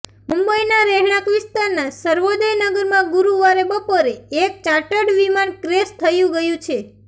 મુંબઇના રહેણાંક વિસ્તારના સર્વોદય નગરમાં ગુરૂવારે બપોરે એક ચાર્ટડ વિમાન ક્રેશ થયું ગયું છે